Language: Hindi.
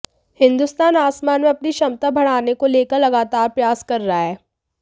हिंदुस्तान आसमान में अपनी क्षमता बढ़ाने को लेकर लगातार प्रयास कर रहा है